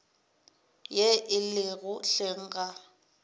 ye e lego hleng ga